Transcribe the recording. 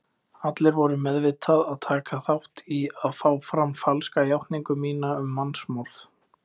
Allir voru meðvitað að taka þátt í að fá fram falska játningu mína um mannsmorð.